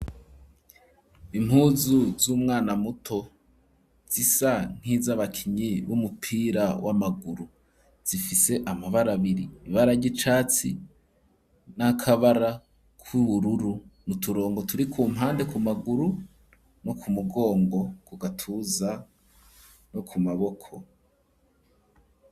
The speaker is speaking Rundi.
Impuzu z'umwana muto zisa nkiz'abakinyi b'umupira w'amaguru. Zifise amabara abiri: ibara ry'icatsi n'akabara k'ubururu mu turongo turi ku mpande ku maguru no ku mugongo, kugatuza no ku maboko.